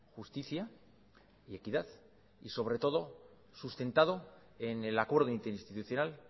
justicia y equidad y sobre todo sustentado en el acuerdo interinstitucional